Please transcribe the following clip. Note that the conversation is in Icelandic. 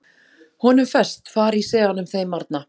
Honum ferst, faríseanum þeim arna!